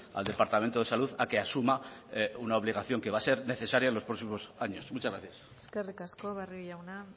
al departamento de salud a que asuma una obligación que va a ser necesaria en los próximos años muchas gracias eskerrik asko barrio jauna